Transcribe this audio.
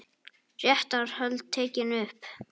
Réttarhöld tekin upp